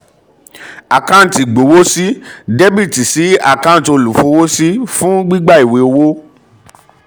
àkáǹtì ìgbowósí dr sí àkáǹtì olúfọwọ́sí — fún gbígbà ìwé owó.